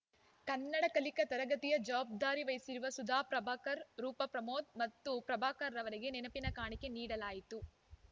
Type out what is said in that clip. ಕನ್ನಡ ಕಲಿಕಾ ತರಗತಿಯ ಜವಾಬ್ದಾರಿ ವಹಿಸಿರುವ ಸುಧಾ ಪ್ರಭಾರ್ಕ ರೂಪ ಪ್ರಮೋದ ಮತ್ತು ಪ್ರಭಾರ್ಕ ರವರಿಗೆ ನೆನಪಿನ ಕಾಣಿಕೆ ನೀಡಲಾಯಿತು